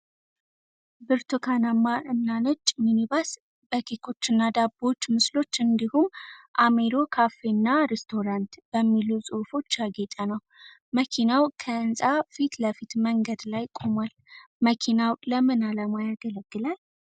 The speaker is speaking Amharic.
ብርቱካናማ እና ነጭ ሚኒባስ በኬኮችና ዳቦዎች ምስሎች እንዲሁም "አሚሮ ካፌ እና ሬስቶራንት" (Amiro Cafe & Restaurant) በሚሉ ጽሑፎች ያጌጠ ነው። መኪናው ከህንፃ ፊት ለፊት መንገድ ላይ ቆሟል። መኪናው ለምን ዓላማ ያገለግላል?